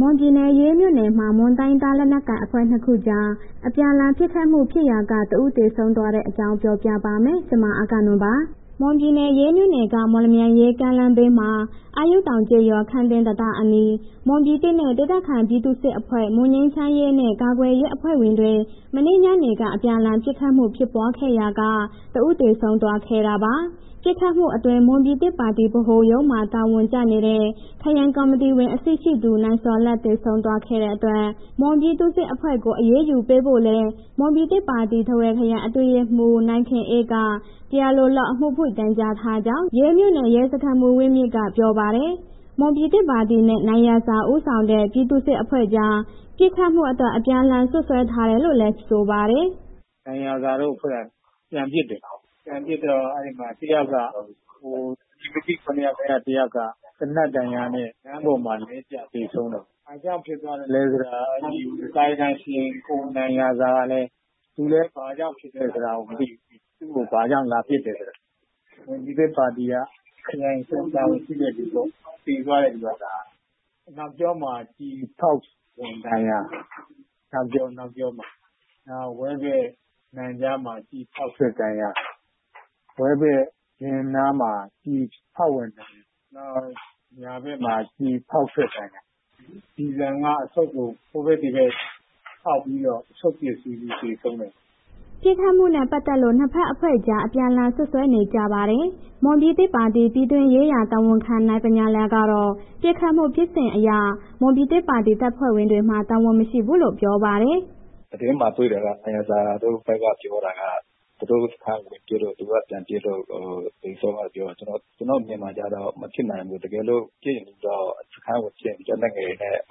မွန်ပြည်နယ် ရေးမြို့နယ်မှာ မွန်တိုင်းရင်းသား လက်နက်ကိုင်အဖွဲ့ ၂ ခုကြား အပြန်အလှန် ပစ်ခတ်မှုဖြစ်ရာက တဦး သေဆုံးသွားတဲ့အကြောင်းကို ဗွီအိုအေမြန်မာပိုင်းသတင်းထောက် မအဂ္ဂနွန်က ပြောပြပါမယ်။ မွန်ပြည်နယ် ရေးမြို့နယ်က မော်လမြိုင်-ရေး ကားလမ်းဘေးက အာယုတောင်ကျေးရွာ ခမ်းသင်း တံတားအနီး မွန်ပြည်သစ်ပါတီနဲ့ ဒေသခံပြည်သူ့စစ်အဖွဲ့ မွန်ငြိမ်းချမ်းရေးနဲ့ ကာကွယ်ရေးအဖွဲ့ဝင်တွေ မနေ့ညနေက အပြန်အလှန် ပစ်ခတ်မှုဖြစ်ပွားခဲ့ရာက တဦးသေဆုံးသွားခဲ့တာပါ။ ပစ်ခတ်မှုအတွင်း မွန်ပြည်သစ်ပါတီဗဟိုရုံးမှာ တာဝန်ကျနေတဲ့ ခရိုင်ကော်မတီဝင်အဆင့်ရှိသူ နိုင်ဇော်လတ် သေဆုံးသွားတဲ့အတွက် မွန်ပြည်သူ့စစ်အဖွဲ့ကို အရေးယူပေးဖို့လည်း မွန်ပြည်သစ်ပါတီ ထားဝယ်ခရိုင် အတွင်းရေးမှူး နိုင်ခင်အေးက တရားလိုလုပ် အမှုဖွင့်တိုင်ကြားထားကြောင်း ရေးမြို့နယ် ရဲစခန်းမှူး ဝင်းမြင့်က ပြောပါတယ်။ မွန်ပြည်သစ်ပါတီနဲ့ နိုင်ရာဇာဦးဆောင်တဲ့ ပြည်သူ့စစ်အဖွဲ့ကြား ပစ်ခတ်မှုအတွက် အပြန်အလှန်စွပ်စွဲထားတယ်လို့လည်း ဆိုပါတယ်။ “နိုင်ရာဇာတို့အဖွဲ့က ပြန်ပစ်တယ်၊ ပြန်ပစ်တော့ အဲ့ဒီမှာ အမည်မသိ ၇ ယောက်ထဲ တစ်ယောက်က သေနတ်ဒဏ်ရာနဲ့ လမ်းပေါ်မှာ လဲကျသေဆုံးတာပေါ့၊ ဘာကြောင့်ဖြစ်သွားသလဲဆိုတာ ကံယကံရှင် ကိုနိုင်ရာဇာကလည်း.. သူလည်း ဘာကြောင့် ပစ်ခံရသလဲဆိုတာလည်း မသိဘူး။ သူ့ကို ဘာကြောင့်လာပစ်တယ်ဆိုတာ။ မွန်ပြည်သစ်ပါတီက ခရိုင်အဆင့် တာဝန်ရှိတဲ့လူ သေသွားတဲ့လူက၊ အနောက်ကျောမှာ ကျည်ဖောက်ဝင်ဒဏ်ရာ၊ နောက်ဝမ်းဗိုက် နံကြားမှာ ကျည်ဖောက်ဝင်ဒဏ်ရာ၊ ဝဲဘက် ဖင်နားမှာ ကျည်ဖောက်ဝင်ဒဏ်ရာ၊ နောက်ညာဘက်မှာ ကျည်ဖောက်ထွက်ဒဏ်ရာ၊ ကျည်ဆံက အဆုတ်ကို ဟိုဘက် ဒီဘက်ဖောက်ပြီးတော့ အဆုတ်ပျက်စီးလို့ သေဆုံးတာ။” ပစ်ခတ်မှုနဲ့ ပတ်သက်လို့ ၂ ဘက်အဖွဲ့ကြား အပြန်အလှန် စွပ်စွဲနေကြပါတယ်။ မွန်ပြည်သစ်ပါတီ ပြည်တွင်းရေးရာ တာဝန်ခံ နိုင်ဗညာလယ်ကတော့ ပစ်ခတ်မှုဖြစ်စဉ်အရ မွန်ပြည်သစ်ပါတီ တပ်ဖွဲ့ဝင်တွေမှာ တာဝန်မရှိဘူးလို့ပြောပါတယ်။ “သတင်းမှာ တွေ့တာက နိုင်ရာဇာတို့ဘက်က ပြောတာက သူတို့စခန်းကို ပစ်လို့ သူက ပြန်ပစ်လို့ သေဆုံးတာပြောတယ်။ ကျနော်အမြင်မှာကျတော့ မဖြစ်နိုင်ဘူး၊ တကယ်လို့ စခန်းကိုပစ်ရင် လက်နက်ငယ်နဲ့ ပ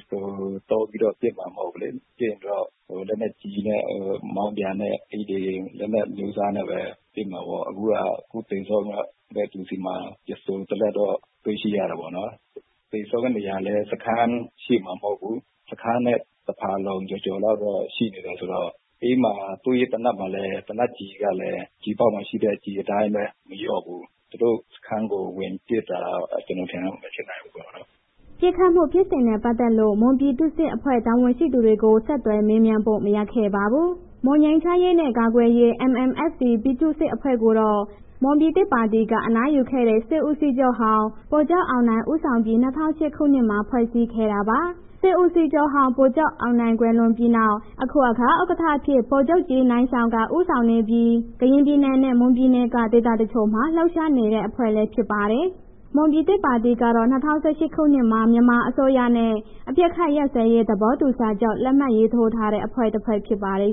စ္စတို သုံးပြီးတော့ ပစ်တာမဟုတ်ဘူးလေး၊ ပစ်ရင်တော့ လက်နက်ကြီးနဲ့ မောင်းပြန်နဲ့ အဲ့ဒီလက်နက် အမျိုးအစားနဲ့ပဲ ဖြစ်မှာပေါ့၊ အခုက အခုသေဆုံးတဲ့သူဆီမှာ ပစ္စတို တစ်လက်တော့ တွေ့ရှိတယ်ပေါ့နော်၊ သေဆုံးနေရာလည်း စခန်းရှေ့မဟုတ်ဘူး၊ တစ်ခန်းနဲ့ တစ်ဖာလုံကျော်ကျော်လောက်တော့ ရှိနေတယ်ဆိုတော့ အဲ့မှာ သူ့ရဲ့ သေနတ်မှာလည်း သေနတ်ကျည်ကလည်း ကျည်အပေါက်မှာရှိတဲ့ ကျည်အတိုင်းပဲ မလျော့ဘူး။ သူတို့စခန်းကို ဝင်ပစ်တာ ကျနော်အထင်တော့ မဖြစ်နိုင်ဘူးပေါ့နော်။” ပစ်ခတ်မှု ဖြစ်စဉ်နဲ့ ပတ်သက်လို့ မွန်ပြည်သူ့စစ်အဖွဲ့ တာဝန်ရှိသူတွေကိုတော့ ဆက်သွယ်မေးမြန်းလို့ မရခဲ့ပါဘူး။ မွန်ငြိမ်းချမ်းရေးနဲ့ ကာကွယ်ရေး ပြည်သူ့စစ်အဖွဲ့ကိုတော့ မွန်ပြည်သစ်ပါတီက အနားယူခဲ့တဲ့ စစ်ဦးစီးချုပ်ဟောင်း ဗိုလ်ချုပ်အောင်နိုင် ဦးဆောင်ပြီး ၂၀၀၈ ခုနှစ်မှာ ဖွဲ့စည်းခဲ့တာပါ။ စစ်ဦးစီးချုပ်ဟောင်း ဗိုလ်ချုပ်အောင်နိုင် ကွယ်လွန်ပြီးနောက် အခုအခါ ဥက္ကဋ္ဌအဖြစ် ဗိုလ်မှူးကြီး နိုင်ရှောင်က ဦးဆောင်နေပြီး ကရင်ပြည်နယ်နဲ့ မွန်ပြည်နယ်က ဒေသတချို့မှာ လှုပ်ရှားနေတဲ့ အဖွဲ့လည်း ဖြစ်ပါတယ်။ မွန်ပြည်သစ်ပါတီကတော့ ၂၀၁၈ ခုနှစ်မှာပဲ မြန်မာအစိုးရနဲ့ အပစ်ခတ်ရပ်စဲရေး သဘောတူစာချုပ် လက်မှတ်ရေးထိုးထားတဲ့ အဖွဲ့တစ်ဖွဲ့ဖြစ်ပါတယ်။